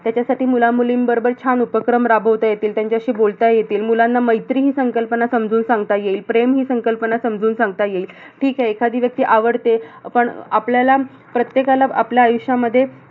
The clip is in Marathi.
त्याच्यासाठी मुलं-मुलीं सोबत छान उपक्रम राबवता येतील. त्यांच्याशी बोलता येतील. मुलांना मैत्री हि संकल्पना समजून सांगता येईल. प्रेम हि संकल्पना समजून सांगता येईल. ठीक आहे, एखादी व्यक्ती आवडते. पण अह आपल्याला अह प्रत्येकाला आपल्या आयुष्यामध्ये